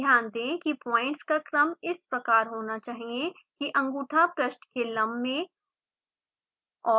ध्यान दें कि पॉइंट्स का क्रम इस प्रकार होना चाहिए कि अँगूठा पृष्ठ के लम्ब में और